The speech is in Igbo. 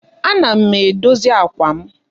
Ana m edozi àkwà m.